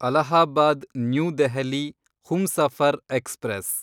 Allahabad new Delhi Humsafar express